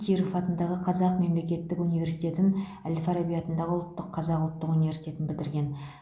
киров атындағы қазақ мемлекеттік университетін әл фараби атындағы ұлттық қазақ ұлттық университетін бітірген